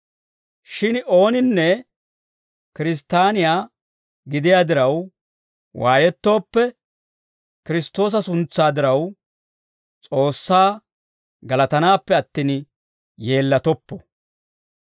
Shin ooninne Kiristtaaniyaa gidiyaa diraw waayettooppe, Kiristtoosa suntsaa diraw, S'oossaa galatanaappe attin, yeellatoppo.